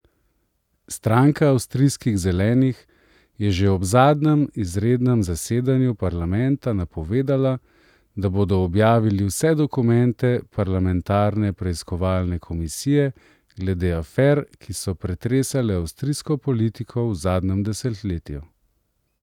Stranka avstrijskih zelenih je že ob zadnjem izrednem zasedanju parlamenta napovedala, da bodo objavili vse dokumente parlamentarne preiskovalne komisije glede afer, ki so pretresale avstrijsko politiko v zadnjem desetletju.